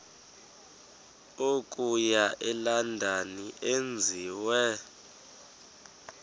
okuya elondon enziwe